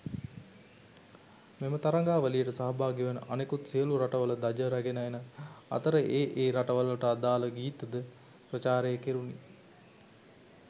මෙම තරගාවලියට සහභාගිවන අනෙකුත් සියලු රටවල ධජ රැගෙන එන අතර ඒ ඒ රටවල්වලට අදාල ගීත ද ප්‍රචාරය කෙරුණි.